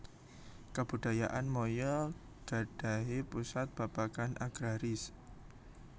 Kabudayaan Maya gadhahi pusat babagan agraris